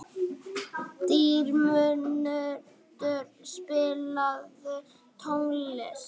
Dýrmundur, spilaðu tónlist.